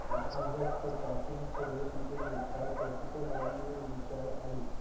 গৃহস্থ চাষীর ছেলে তীতুমীর তার প্রকৃত নাম মীর নিসার আলী